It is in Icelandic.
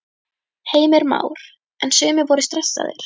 Heimir Már: En sumir voru stressaðir?